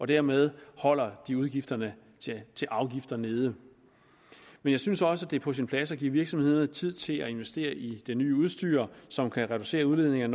dermed holder de udgifterne til afgifter nede men jeg synes også at det er på sin plads at give virksomhederne tid til at investere i det nye udstyr som kan reducere udledningerne